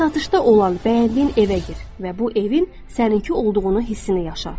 Satışda olan, bəyəndiyin evə gir və bu evin səninki olduğunu hissini yaşa.